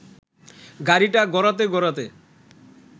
গাড়িটা গড়াতে গড়াতে